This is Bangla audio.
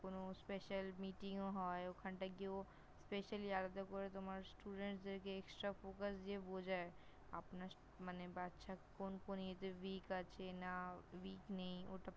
কোন Special meeting -ও হয়, ওখানটায় কেউ Specially আলাদা করে তোমার Student -দেরকে Extra Focus দিয়ে বোঝায় । আপনার মানে বাচ্চা কোন কোন এতে Weak আছে না Weak নেই ।